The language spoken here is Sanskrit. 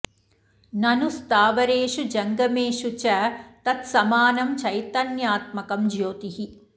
ननु स्थावरेषु जङ्गमेषु च तत् समानं चैतन्यात्मकं ज्योतिः